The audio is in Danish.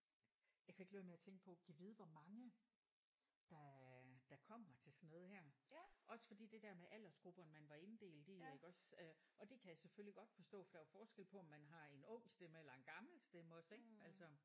Jeg kan ikke lade være med at tænke på gad vide hvor mange der øh der kommer til sådan noget her. Også fordi det der med aldersgrupperne man var inddelt i iggås øh og det kan jeg selvfølgelig godt forstå for der er jo forskel på om man har en ung stemme eller en gammel stemme også ik altså